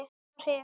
Hitt var Hel.